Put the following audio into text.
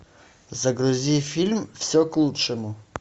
загрузи фильм все к лучшему